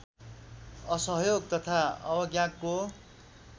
असहयोग तथा अवज्ञाको